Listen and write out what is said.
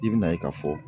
I bina ye ka fɔ